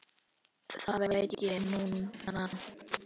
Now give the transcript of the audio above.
Það veit ég núna.